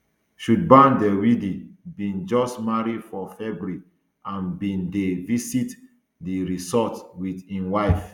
shubham dwivedi bin just marry for february and bin dey visit di resort wit im wife